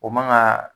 O man ka